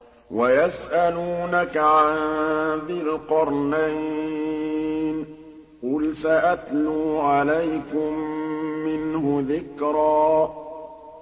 وَيَسْأَلُونَكَ عَن ذِي الْقَرْنَيْنِ ۖ قُلْ سَأَتْلُو عَلَيْكُم مِّنْهُ ذِكْرًا